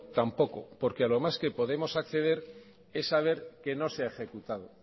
tampoco porque a lo más que podemos acceder es saber que no se ha ejecutado